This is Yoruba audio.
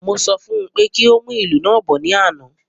Mo sọ fún pé kí o mu ilu naa bọ̀ ní àna